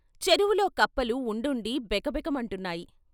చెరువులో కప్పలు ఉండుండి బెక బెక మంటున్నాయి.